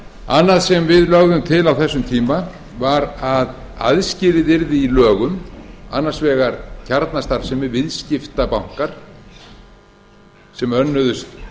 annað sem við lögðum til á þessum tíma var að aðskilið yrði í lögum annars vegar kjarnastarfsemi viðskiptabanka sem önnuðust